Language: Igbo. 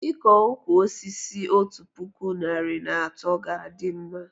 Iko ụkwụ osisi otu puku narị na atọ ga a dị mma